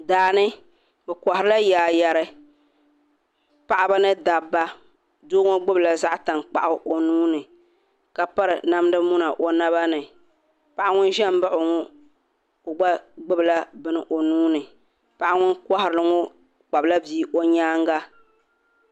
Daani bɛ koharila yaayeri paɣaba ni dabba doo ŋɔ gbibila zaɣa tankpaɣu o nuuni ka piri namda muna o naba ni paɣa ŋun ʒɛm m baɣi o ŋɔ gba gbibila bini o nuuni paɣa ŋun kohari ŋɔ kpabila bia o nyaanga.